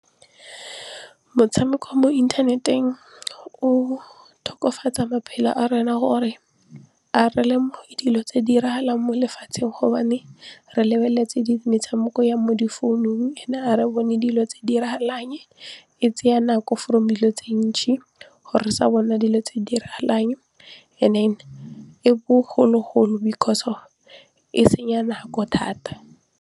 Motshameko mo inthaneteng o tokofatsang maphelo a rona gore a re lemoge dilo tse di diragalang mo lefatsheng gobane re lebeletse metshameko ya mo di founung ga re bone dilo tse di diragalang e tsaya nako from dilo tse gore sa bona dilo tse di diragalang and then e bogologolo because of e senya nako thata.